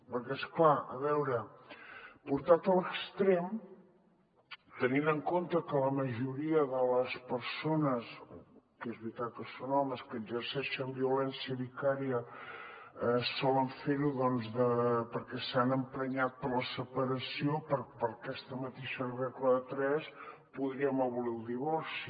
perquè és clar a veure portat a l’extrem tenint en compte que la majoria de les persones que és veritat que són homes que exerceixen violència vicària solen fer ho doncs perquè s’han emprenyat per la separació per aquesta mateixa regla de tres podríem abolir el divorci